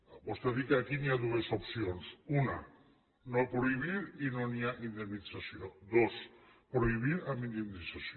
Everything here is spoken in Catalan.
vostè ha dit que aquí hi ha dues opcions una no prohibir i no hi ha indemnització dos prohibir amb indemnització